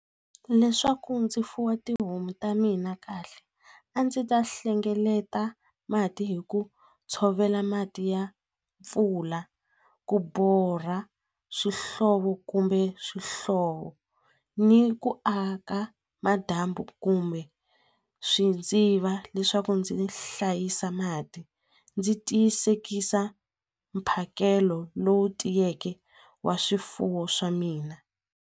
Leswaku ndzi fuwa tihomu ta mina kahle a ndzi ta hlengeleta mati hi ku tshovela mati ya mpfula ku borha swihlovo kumbe swihlovo ni ku aka kumbe swidziva leswaku ndzi hlayisa mati ndzi tiyisekisa mphakelo lowu tiyeke wa swifuwo swa mina.